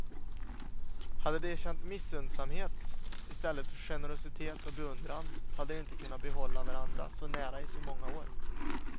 Hade de känt missunnsamhet istället för generositet och beundran, hade de inte kunnat behålla varandra så nära i så många år.